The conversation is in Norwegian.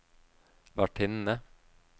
vertinne